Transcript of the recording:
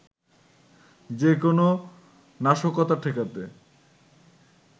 যে কোন নাশকতা ঠেকাতে